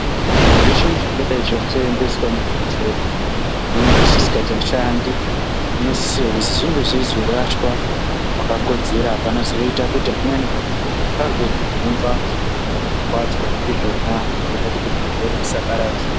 Zveshe zvingadai zvasoendeswa muchibhodhleya zvimweni zvisisashandi zvimweni zvenge zvisikachashandi zvinosisirwa kuti zvinhe zveizorashwa pakakodzera panozoita kuti amweni antu azojungwa kana kukwuwadzwa ndizvona zvoita kuti zvirwere zvisapararira.